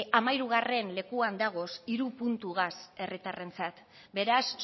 hamahirugarren lekuan dagoz hiru puntugaz herritarrentzat beraz